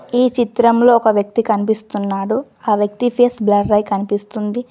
ఈ చిత్రంలో ఒక వ్యక్తి కనిపిస్తున్నాడు. ఆ వ్యక్తి ఫేస్ బ్లరై కనిపిస్తుంది.